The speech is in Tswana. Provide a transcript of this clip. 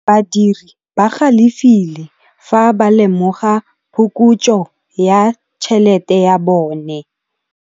Badiri ba galefile fa ba lemoga phokotsô ya tšhelête ya bone.